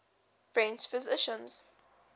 french physicians